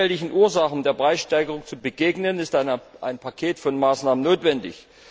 Um den vielfältigen Ursachen der Preissteigerung zu begegnen, ist ein Paket von Maßnahmen notwendig.